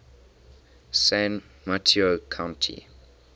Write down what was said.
san mateo county